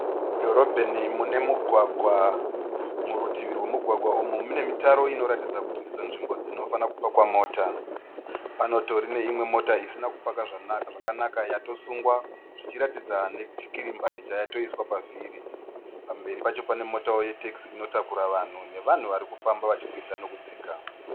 Mudhorobheni mune mugwagwa. Murutivi rwemugwagwa umu mune mitaro inoratidza kuti ndidzo nzvimbo dzinofanira kupakwa mota. Panotori neimwe mota isina ku paka zvakanaka yatosungwa. Zvichiratidza nechikirimbani chayatoiswa pa vhiri. Pamberi Pacho pane motawo ye tekisi inotakura vanhu, nevanhu vanofamba vachikwidza nekudzika.